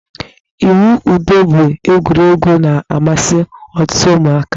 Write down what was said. Ịwụ ụdọ bụ egwuregwu na-amasị ọtụtụ ụmụaka.